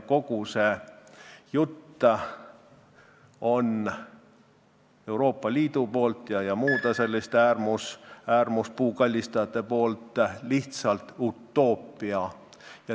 Kogu see Euroopa Liidu ja muude selliste äärmuslike puukallistajate jutt on lihtsalt utoopia.